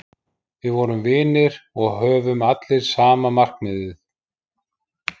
Við vorum vinir og höfðum allir sama markmiðið.